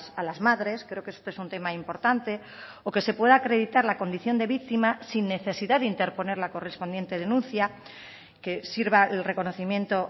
a las madres creo que este es un tema importante o que se pueda acreditar la condición de víctima sin necesidad de interponer la correspondiente denuncia que sirva el reconocimiento